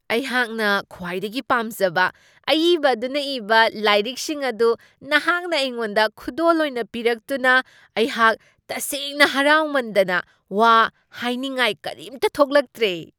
ꯑꯩꯍꯥꯛꯅ ꯈ꯭ꯋꯥꯏꯗꯒꯤ ꯄꯥꯝꯖꯕ ꯑꯏꯕ ꯑꯗꯨꯅ ꯏꯕ ꯂꯥꯏꯔꯤꯛꯁꯤꯡ ꯑꯗꯨ ꯅꯍꯥꯛꯅ ꯑꯩꯉꯣꯟꯗ ꯈꯨꯗꯣꯜ ꯑꯣꯏꯅ ꯄꯤꯔꯛꯇꯨꯅ ꯑꯩꯍꯥꯛ ꯇꯁꯦꯡꯅ ꯍꯔꯥꯎꯃꯟꯗꯅ ꯋꯥ ꯍꯥꯢꯅꯤꯡꯉꯥꯏ ꯀꯔꯤꯝꯇ ꯊꯣꯛꯂꯛꯇ꯭ꯔꯦ !